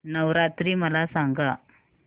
नवरात्री मला सांगा